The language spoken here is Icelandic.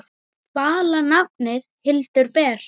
Vala nafnið Hildur ber.